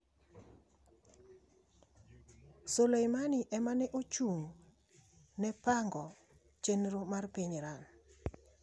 Soleimani ema ne ochung'ne pango chenro mar piny Iran